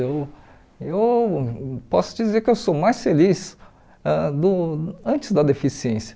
Eu eu posso dizer que eu sou mais feliz ãh do antes da deficiência.